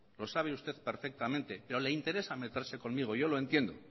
lo sabe usted perfectamente pero le interesa meterse conmigo